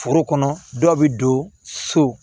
Foro kɔnɔ dɔw bɛ don so